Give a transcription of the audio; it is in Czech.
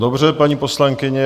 Dobře, paní poslankyně.